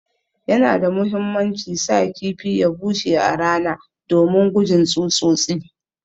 Yana da muhimmanci sa kifi ya bushe a rana domin gujin tsutsotsi.